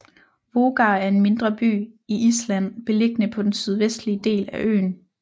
Vogar er en mindre by i Island beliggende på den sydvestlige del af øen